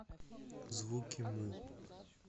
звуки му